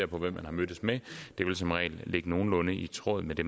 på hvem man har mødtes med det vil som regel ligge nogenlunde i tråd med det